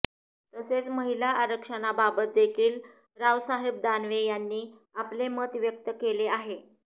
तसेच महिला आरक्षणाबाबत देखील रावसाहेब दानवे यांनी आपले मत व्यक्त केले आहे